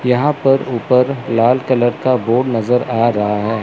यहां पर ऊपर लाल कलर का बोर्ड नजर आ रहा है।